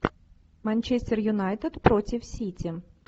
манчестер юнайтед против сити